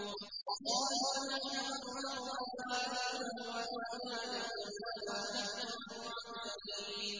وَقَالُوا نَحْنُ أَكْثَرُ أَمْوَالًا وَأَوْلَادًا وَمَا نَحْنُ بِمُعَذَّبِينَ